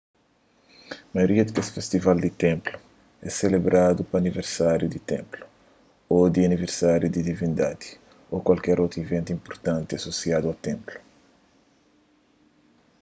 maioria di kes festival di ténplu é selebradu pa aniversáriu di ténplu ô di aniversáriu di divindadi ô kualker otu iventu inpurtanti asosiadu a ténplu